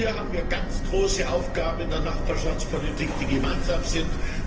Hier haben wir ganz große Aufgaben in der Nachbarschaftspolitik, die gemeinsam sind.